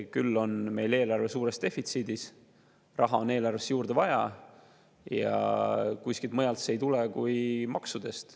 Küll on meil eelarve suures defitsiidis, raha on eelarvesse juurde vaja ja kuskilt mujalt see ei tule kui maksudest.